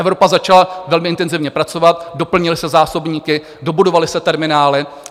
Evropa začala velmi intenzivně pracovat, doplnily se zásobníky, dobudovaly se terminály.